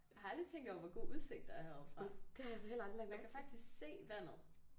Jeg har aldrig tænkt over hvor god udsigt der er herovre fra. Jeg kan faktisk se vandet